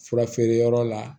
Fura feere yɔrɔ la